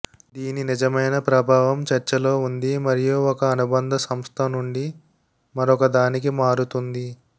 దీని నిజమైన ప్రభావం చర్చలో ఉంది మరియు ఒక అనుబంధ సంస్థ నుండి మరొకదానికి మారుతుంది